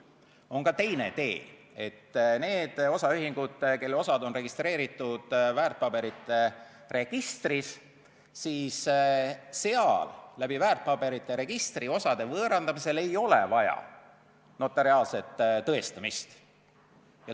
On ka teine tee: neil osaühingutel, kelle osad on registreeritud väärtpaberite registris, ei ole väärtpaberite registri kaudu osade võõrandamisel vaja notariaalset tõestamist.